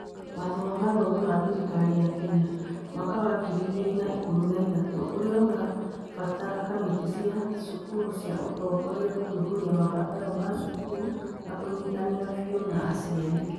Watho wa mathomo wa thirikari ya Kenya (mwaka wa ngiri igĩrĩ na ikũmi na ithatũ) ũria ũrabatara kamĩtĩ cia cukuru cia ũtongoria gũthuthuria mabataro ma cukuru na kũnyitanĩra biũ na aciari.